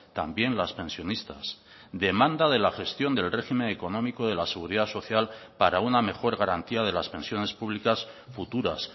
también las pensionistas demanda de la gestión del régimen económico de la seguridad social para una mejor garantía de las pensiones públicas futuras